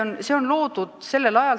Ja see summa pole kasvanud.